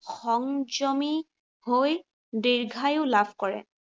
সংযমী হৈ দীৰ্ঘায়ু লাভ কৰে।